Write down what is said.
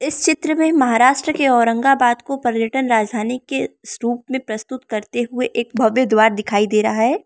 इस चित्र में महाराष्ट्र के औरंगाबाद को पर्यटन राजधानी के स्वरूप में प्रस्तुत करते हुए एक भव्य द्वार दिखाई दे रहा है।